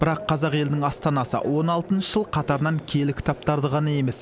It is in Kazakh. бірақ қазақ елінің астанасы он алтыншы жыл қатарынан киелі кітаптарды ғана емес